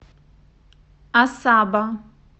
асаба